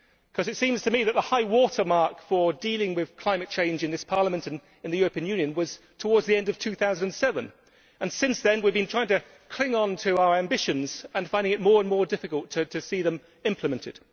Because it seems to me that the high water mark for dealing with climate change in this Parliament, and in the European Union, was towards the end of 2007, and that since then we have been trying to cling on to our ambitions and finding it more and more difficult to see them implemented.